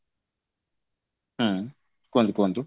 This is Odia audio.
ହୁଁ କୁହନ୍ତୁ କୁହନ୍ତୁ